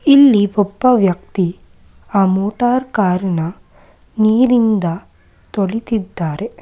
ಇಲ್ಲಿ ಒಬ್ಬ ವ್ಯಕ್ತಿ ಆ ಮೋಟಾರ್ ಕಾರನ್ನ ನೀರಿನಿಂದ ತೊಳಿತಿದ್ದಾರೆ.